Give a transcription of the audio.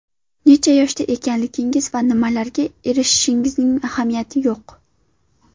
Necha yoshda ekanligingiz va nimalarga erishganingizning ahamiyati yo‘q.